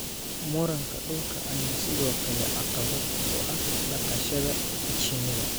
Muranka dhulka ayaa sidoo kale caqabad ku ah dhaqashada shinida.